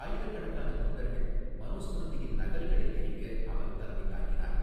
ஆயிரக்கணக்கான தொண்டர்கள் மனோஸ்மிருதியின் நகல்களை எரிக்க அவர் தலைமை தாங்கினார்.